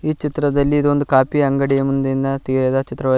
ಈ ಚಿತ್ರದಲ್ಲಿ ಇದೊಂದ್ ಕಾಫಿ ಅಂಗಡಿಯ ಮುಂದಿನ ತೆಗೆಯದ ಛಿತ್ರವಾ --